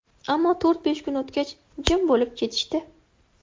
Ammo to‘rt–besh kun o‘tgach, jim bo‘lib ketishdi.